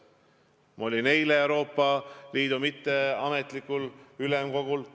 Ma olin eile Euroopa Liidu mitteametlikul ülemkogul.